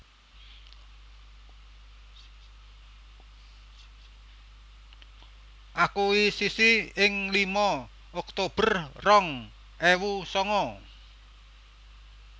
Akuisisi ing lima oktober rong ewu sanga